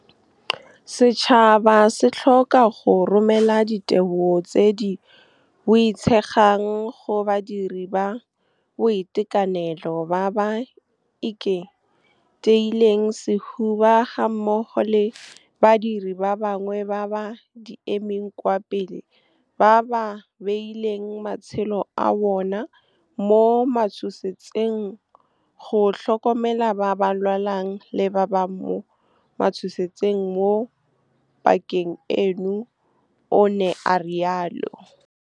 Setšhaba se tlhoka go romela ditebogo tse di boitshegang go badiri ba boitekanelo ba ba ikiteileng sehuba gammogo le badiri ba bangwe ba ba di emeng kwa pele ba ba beileng matshelo a bona mo matshosetsing go tlhokomela ba ba lwalang le ba ba mo matshosetsing mo pakeng eno, o ne a rialo. Setšhaba se tlhoka go romela ditebogo tse di boitshegang go badiri ba boitekanelo ba ba ikiteileng sehuba gammogo le badiri ba bangwe ba ba di emeng kwa pele ba ba beileng matshelo a bona mo matshosetsing go tlhokomela ba ba lwalang le ba ba mo matshosetsing mo pakeng eno, o ne a rialo.